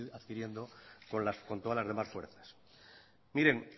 adquiriendo con todas las demás fuerzas miren